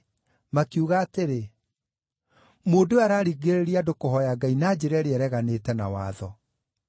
Makiuga atĩrĩ, “Mũndũ ũyũ araringĩrĩria andũ kũhooya Ngai na njĩra ĩrĩa ĩreganĩte na watho.”